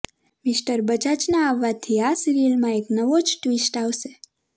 mister બજાજના આવાથી આ સિરીયલમાં એક નવો જ ટ્વિસ્ટ આવશે